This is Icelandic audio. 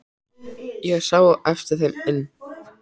Ég sá á eftir þeim inn.